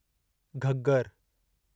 Ghaggar